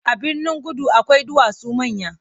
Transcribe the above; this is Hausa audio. A Birnin-kudu akwai duwatsu manya.